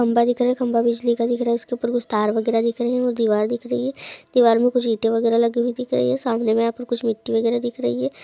खंभा दिख रहा है खंभा बिजली का दिख रहा है उसके उपर कुछ तार वगैरा दिख रही है और दीवार दिख रही है दीवार मे कुछ ईटे वगैरा लगी हुई दिख रही है सामने में यहाँ पर कुछ मिट्टी वगैरा दिख रही है।